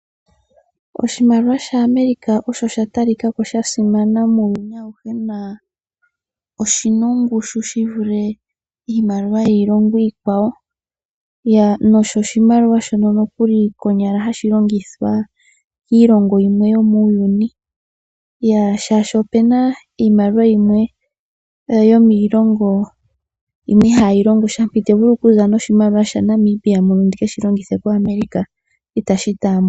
Oshimaliwa shaAmerica osha ta likako sha simana muuyuni auhe na oshina ongushu shi vule iimaliwa yiilongo iikwawo. Nohashi konyala hashi longithwa kiilongo yilwe muuyuni shaashi ope na iimaliwa yimwe yomiilongo yimwe ihayi longosha. Ite vulu okuza noshimaliwa shaNamibia muno ndike shilongithe itashi taambwa.